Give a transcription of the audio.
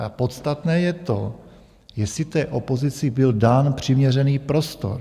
Ale podstatné je to, jestli té opozici byl dán přiměřený prostor.